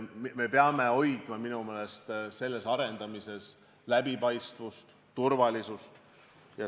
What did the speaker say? Me peame minu meelest hoidma selle arendamises läbipaistvust ja turvalisust.